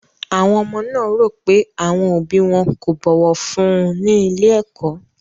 Àwọn ọmọ náà rò pé àwọn òbí wọn kò bọ̀wọ̀ fún un ní ilé-ẹ̀kọ́.